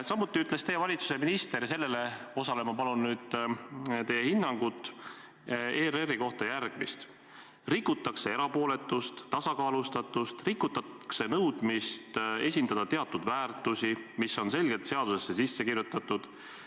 Samuti ütles teie valitsuse minister – ja sellele ma palun nüüd teie hinnangut – ERR-i kohta järgmist: "Rikutakse erapooletust, tasakaalustatust, rikutakse nõudmist esindada teatud väärtusi, mis on selgelt seadusesse sisse kirjutatud.